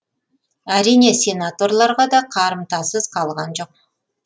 әрине сенаторларға да қарымтасыз қалған жоқ